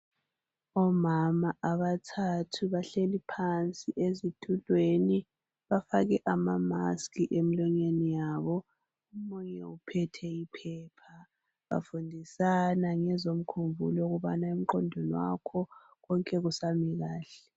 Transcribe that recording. Omama abathathu bahleli phansi ezitulweni bafake amamaski emlonyeni yabo omunye uphethe iphepha bafundisana ngezomkhumbulo ukubana emqondweni wakho konke kusami kahle.